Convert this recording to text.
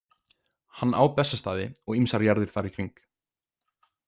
Hann á Bessastaði og ýmsar jarðir þar í kring.